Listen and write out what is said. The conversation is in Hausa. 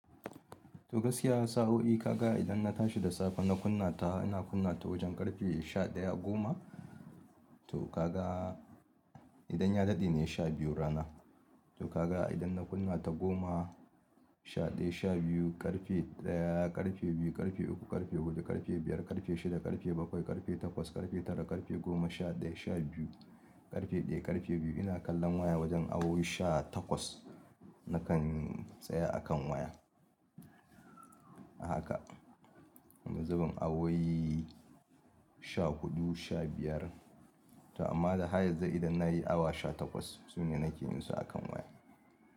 To gaskiya sa'oi ka ga idan na tashi da safe na kunna ta, ina kunna ta wajen ƙarfe sha ɗaya goma. To kaga idan ya daɗe ne sha biyu rana. To kaga idan na kunna ta goma, sha ɗaya, sha biyu, ƙarfe ɗaya, ƙarfe biyu, ƙarfe uku, ƙarfe huɗu, ƙarfe biyar, ƙarfe shida, ƙarfe bakwai, ƙarfe takwas, ƙarfe tara, ƙarfe goma, sha ɗaya, sha biyu, ƙarfe ɗaya, ƙarfe biyu. Ina kallon waya wajen awowi sha takwas nakan tsaye a kan waya. Haka. Wani zubin awowi sha huɗu, sha biyar. To amma da hayez dai idan na yi awa sha takwas su ne nake yin su a kan waya.